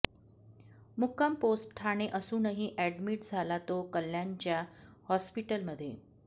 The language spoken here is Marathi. मुक्काम पोस्ट ठाणे असूनही ऍडमिट झाला तो कल्याणच्या हॉस्पिटलमध्ये